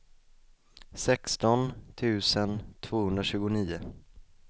sexton tusen tvåhundratjugonio